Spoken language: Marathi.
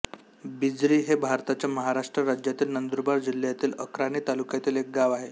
बिजरी हे भारताच्या महाराष्ट्र राज्यातील नंदुरबार जिल्ह्यातील अक्राणी तालुक्यातील एक गाव आहे